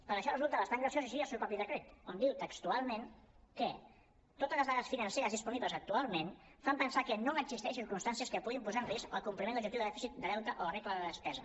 per això resulta bastant graciós així el seu propi decret que diu textualment que totes les dades financeres disponibles actualment fan pensar que no existeixen circumstàncies que puguin posar en risc el compliment de l’objectiu de dèficit de deute o la regla de despesa